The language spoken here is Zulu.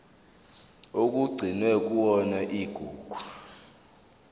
okugcinwe kuyona igugu